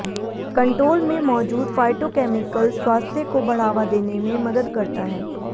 control में मौजूद phytochemicals स्वास्थ्य को बढ़ावा देने में मदद करता है